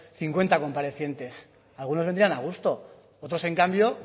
cincuenta comparecientes algunos vendrían a gusto otros en cambio